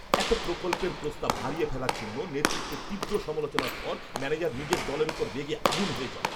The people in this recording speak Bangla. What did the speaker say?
একটা প্রকল্পের প্রস্তাব হারিয়ে ফেলার জন্য নেতৃত্বের তীব্র সমালোচনার পর ম্যানেজার নিজের দলের ওপর রেগে আগুন হয়ে যায়!